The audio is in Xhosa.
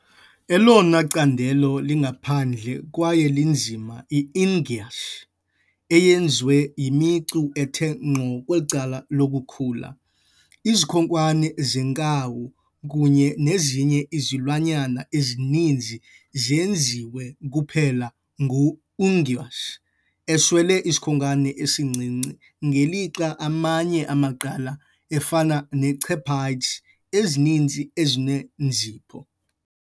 Elona candelo lingaphandle kwaye linzima yi "unguis", eyenziwe yimicu ethe ngqo kwicala lokukhula. Izikhonkwane zenkawu kunye nezinye izilwanyana ezininzi zenziwe kuphela ngu-unguis, eswele isikhonkwane esincinci, ngelixa amanye amaqela, afana nechephayiji ezininzi, enezinzipho.